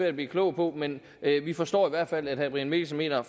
at blive klog på men vi forstår i hvert fald at herre brian mikkelsen mener at